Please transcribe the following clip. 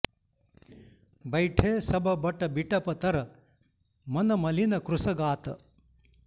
बैठे सब बट बिटप तर मन मलीन कृस गात